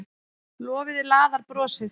Lofið laðar brosið.